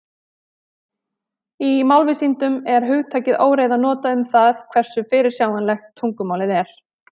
Í málvísindum er hugtakið óreiða notað um það hversu fyrirsjáanlegt tungumálið er.